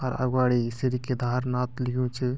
अर अगवाडी श्री केदारनाथ लियु च ।